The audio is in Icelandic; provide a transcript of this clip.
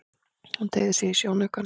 Hún teygði sig í sjónaukann.